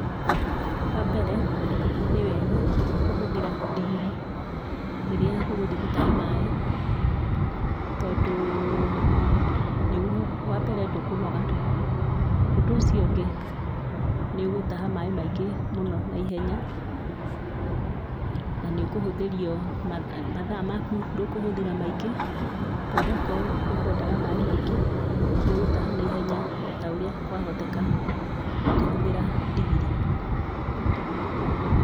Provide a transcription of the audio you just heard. Wambere, nĩwega, kũhũthĩra ndigiri, rĩrĩa ũgũthiĩ gũtaha maĩ, tondũũ, nĩguo wambere ndũkũnoga, ũndũ ũcio ũngĩ, nĩũgũtaha maĩ maingĩ mũno naihenya, na nĩũkũhũthĩrio, matha, mathaa maku, ndũkũhũthĩra maingĩ, tondũ angorũo ũkũendaga maĩ maingĩ, nĩũgũtaha naihenya otaũrĩa kwahoteka, ũkĩhũthĩra ndigiri.